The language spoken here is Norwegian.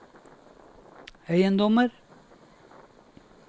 eiendommer